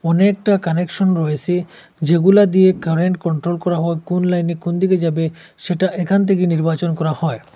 অনেকটা কানেকশন রয়েসে যেগুলা দিয়ে কারেন্ট কন্ট্রোল করা হয় কোন লাইনে কোন দিকে যাবে সেটা এখান থেকেই নির্বাচন করা হয়।